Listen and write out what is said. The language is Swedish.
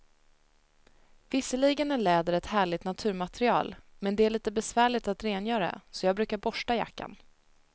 Visserligen är läder ett härligt naturmaterial, men det är lite besvärligt att rengöra, så jag brukar borsta jackan.